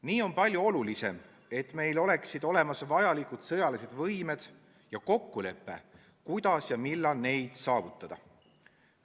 Nii on palju olulisem, et meil oleksid olemas vajalikud sõjalised võimed ja kokkulepe, kuidas ja millal neid saavutada.